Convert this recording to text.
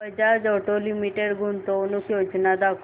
Bajaj auto limited गुंतवणूक योजना दाखव